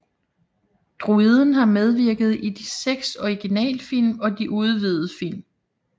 Droiden har medvirket i de seks originalfilm og de udvidede film